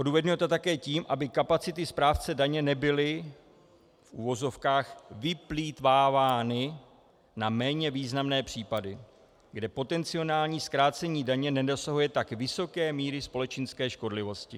Odůvodňuje to také tím, aby kapacity správce daně nebyly, v uvozovkách, vyplýtvávány na méně významné případy, kde potenciální zkrácení daně nedosahuje tak vysoké míry společenské škodlivosti.